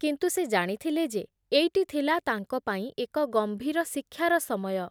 କିନ୍ତୁ ସେ ଜାଣିଥିଲେ ଯେ ଏଇଟି ଥିଲା ତାଙ୍କ ପାଇଁ ଏକ ଗମ୍ଭୀର ଶିକ୍ଷାର ସମୟ ।